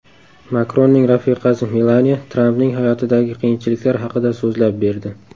Makronning rafiqasi Melaniya Trampning hayotidagi qiyinchiliklar haqida so‘zlab berdi.